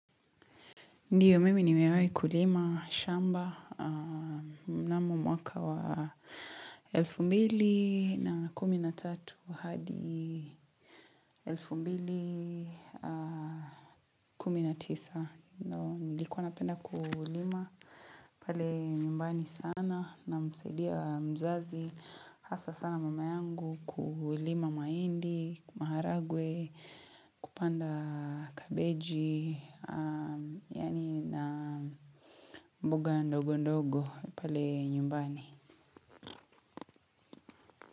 Ndiyo, mimi nimewai kulima shamba na mwaka wa elfu mbili na kumi na tatu hadi elfu mbili na kumi na tisa. Nilikuwa napenda kulima. Pale nyumbani sana na msaidia mzazi. Hasa sana mama yangu kulima mahindi, maharagwe, kupanda kabeji. Yani na mboga ndogo ndogo pale nyumbani.